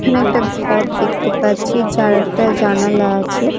এখানে একটা ঘর দেখতে পাচ্ছি যার একটা জানালা আছে।